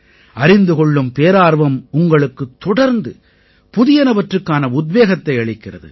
அறிந்து கொள்ளும் பேரார்வம் உங்களுக்குத் தொடர்ந்து புதியனவற்றுக்கான உத்வேகத்தை அளிக்கிறது